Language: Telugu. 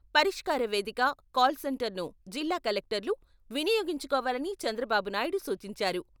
'పరిష్కార వేదిక 'కాల్ సెంటర్ను జిల్లా కలెక్టర్లు వినియోగించుకోవాలని చంద్రబాబు నాయుడు సూచించారు.